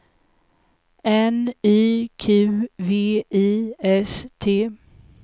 N Y Q V I S T